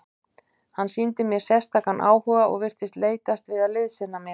Hann sýndi mér sérstakan áhuga og virtist leitast við að liðsinna mér.